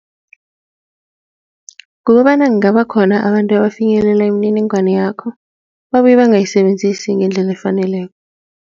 Kukobana kungaba khona abantu abafinyelele imininingwana yakho, babuye bangayisebenzisi ngendlela efaneleko.